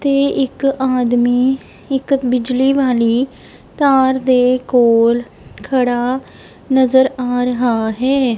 ਤੇ ਇੱਕ ਆਦਮੀ ਇੱਕ ਬਿਜਲੀ ਵਾਲੀ ਤਾਰ ਦੇ ਕੋਲ ਖੜਾ ਨਜ਼ਰ ਆ ਰਿਹਾ ਹੈ।